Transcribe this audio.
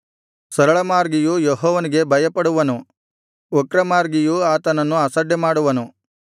ಸರಳಮಾರ್ಗಿಯು ಯೆಹೋವನಿಗೆ ಭಯಪಡುವನು ವಕ್ರಮಾರ್ಗಿಯು ಆತನನ್ನು ಅಸಡ್ಡೆಮಾಡುವನು